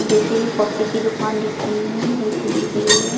जैसे कि कोफी की दुकान दिख रही है वैसी दिख रही हूँ।